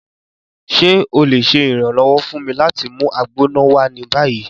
Ṣe o le ṣe iranlọwọ fun mi lati mu Agbona wa ni bayi?